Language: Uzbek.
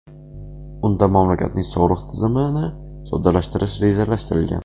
Unda mamlakatning soliq tizimini soddalashtirish rejalashtirilgan.